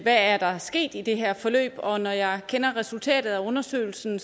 der er sket i det her forløb og når jeg kender resultatet af undersøgelsen